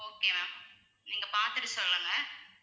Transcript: okay ma'am நீங்க பார்த்துட்டு சொல்லுங்க?